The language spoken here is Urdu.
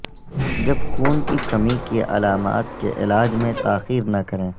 جب خون کی کمی کی علامات کے علاج میں تاخیر نہ کریں